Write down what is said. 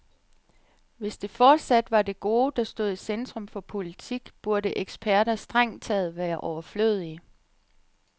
Hvis det fortsat var det gode, der stod i centrum for politik, burde eksperter strengt taget være overflødige.